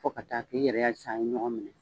Fo ka taa k'i yɛrɛ y'a ye sisan a ye ɲɔgɔn minɛ